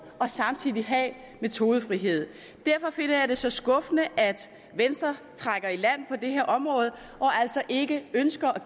og samtidig have metodefrihed derfor finder jeg det så skuffende at venstre trækker i land på det her område og altså ikke ønsker at